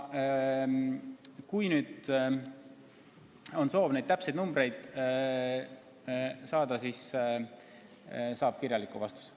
Kui teil on soov täpseid numbreid saada, siis võime saata kirjaliku vastuse.